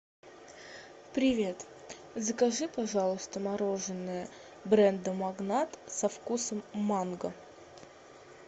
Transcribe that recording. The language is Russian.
привет закажи пожалуйста мороженое бренда магнат со вкусом манго